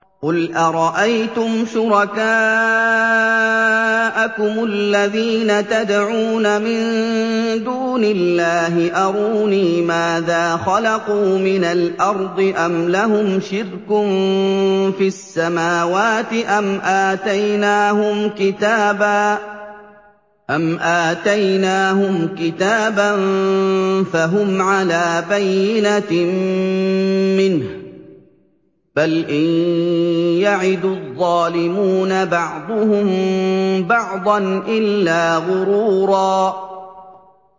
قُلْ أَرَأَيْتُمْ شُرَكَاءَكُمُ الَّذِينَ تَدْعُونَ مِن دُونِ اللَّهِ أَرُونِي مَاذَا خَلَقُوا مِنَ الْأَرْضِ أَمْ لَهُمْ شِرْكٌ فِي السَّمَاوَاتِ أَمْ آتَيْنَاهُمْ كِتَابًا فَهُمْ عَلَىٰ بَيِّنَتٍ مِّنْهُ ۚ بَلْ إِن يَعِدُ الظَّالِمُونَ بَعْضُهُم بَعْضًا إِلَّا غُرُورًا